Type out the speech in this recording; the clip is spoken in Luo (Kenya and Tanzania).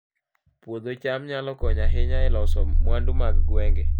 Puodho cham nyalo konyo ahinya e loso mwandu mag gweng'